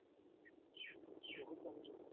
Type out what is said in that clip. বহুত বহিলো।